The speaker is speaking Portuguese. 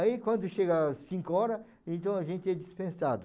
Aí quando chega às cinco horas, então a gente é dispensado.